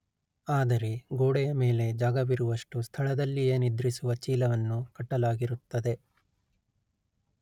ಆದರೆ ಗೋಡೆಯ ಮೇಲೆ ಜಾಗವಿರುವಷ್ಟು ಸ್ಥಳದಲ್ಲಿಯೇ ನಿದ್ರಿಸುವ ಚೀಲವನ್ನು ಕಟ್ಟಲಾಗಿರುತ್ತದೆ